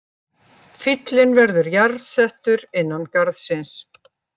Fíllinn verður jarðsettur innan garðsins